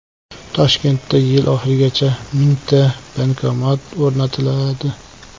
Toshkentda yil oxirigacha mingta bankomat o‘rnatiladi.